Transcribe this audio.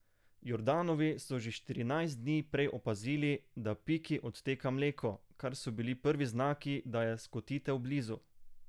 Jordanovi so že štirinajst dni prej opazili, da Piki odteka mleko, kar so bili prvi znaki, da je skotitev blizu.